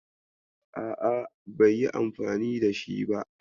A'a, bai yi anfani da shi ba.